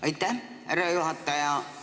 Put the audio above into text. Aitäh, härra juhataja!